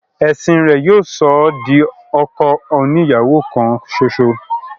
ẹ̀sìn rẹ̀ yóò sọ ọ́ di ọkọ oni ìyàwó kan ṣoṣo.